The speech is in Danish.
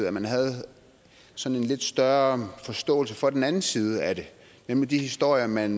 at man havde sådan en lidt større forståelse for den anden side af det nemlig de historier man